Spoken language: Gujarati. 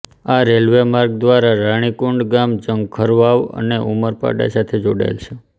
આ રેલ્વે માર્ગ દ્વારા રાણીકુંડ ગામ ઝંખવાવ અને ઉમરપાડા સાથે જોડાયેલ છે